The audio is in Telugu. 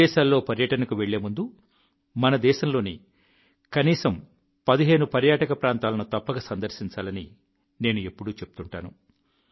విదేశాల్లో పర్యటనకు వెళ్లేముందు మన దేశంలోని కనీసం 15 పర్యాటక ప్రాంతాలను తప్పక సందర్శించాలని నేను ఎప్పుడూ చెప్తుంటాను